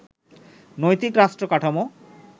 নৈতিক রাষ্ট্র কাঠামো